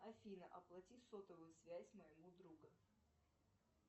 афина оплати сотовую связь моему другу